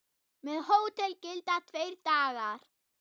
Með hótel gilda tveir dagar.